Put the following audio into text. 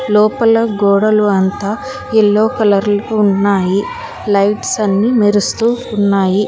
లోపల గోడలు అంతా ఎల్లో కలర్లు ఉన్నాయి లైట్స్ అన్ని మెరుస్తూ ఉన్నాయి